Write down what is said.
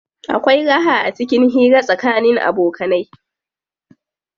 Akwai raha acikin hira tsakanin abokanai.